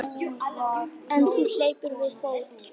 En hún hleypur við fót.